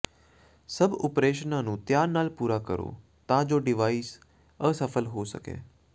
ਸਭ ਓਪਰੇਸ਼ਨਾਂ ਨੂੰ ਧਿਆਨ ਨਾਲ ਪੂਰਾ ਕਰੋ ਤਾਂ ਜੋ ਡਿਵਾਈਸ ਅਸਫਲ ਹੋ ਸਕੇ